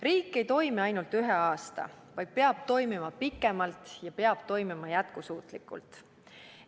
Riik ei pea toimima ainult ühe aasta, riik peab toimima pikemalt, peab toimima jätkusuutlikult.